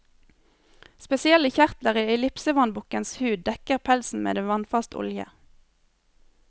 Spesielle kjertler i ellipsevannbukkens hud dekker pelsen med en vannfast olje.